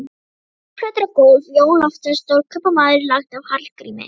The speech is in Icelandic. Korkplötur á gólf: Jón Loftsson, stórkaupmaður, lagt af Hallgrími